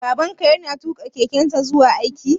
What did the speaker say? Baban ka ya na tuƙa kekensa zuwa aiki?